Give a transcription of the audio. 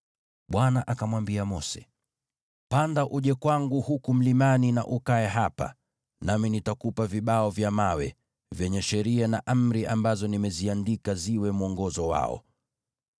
Bwana akamwambia Mose, “Panda uje kwangu huku mlimani na ukae hapa, nami nitakupa vibao vya mawe, vyenye sheria na amri ambazo nimeziandika ziwe mwongozo wao.”